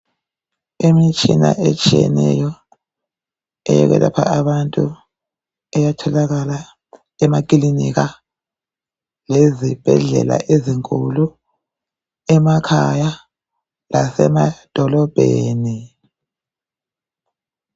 Imitshina eyehlukeneyo eyokwelapha abantu iyatholakala emakilinika lezibhedlela ezinkulu, emakhaya lasemadolobheni.